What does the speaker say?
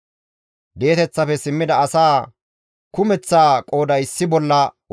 Di7eteththafe simmida asaa kumeththaa qooday issi bolla 42,360